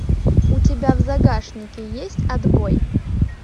у тебя в загашнике есть отбой